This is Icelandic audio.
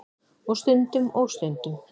Og stundum. og stundum.